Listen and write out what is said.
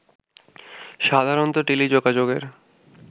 সাধারণত টেলিযোগাযোগের